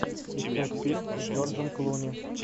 искать фильм с джорджем клуни